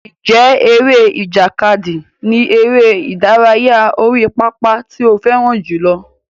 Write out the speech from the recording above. Ǹjẹ́ eré ìjàkadì ni eré ìdárayá orí pápá tí ó fẹ́ràn jùlọ?